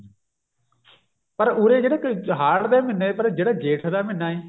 ਪਰ ਉਰੇ ਜਿਹੜਾ ਕੋਈ ਹਾੜ ਦੇ ਮਹੀਨੇ ਪਰ ਜਿਹੜਾ ਜੇਠ ਦਾ ਮਹੀਨਾ ਹੈ